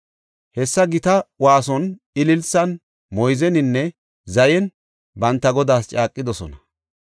Hessa gita waason, ililsan, moyzeninne zayen banta Godaas caaqidosona.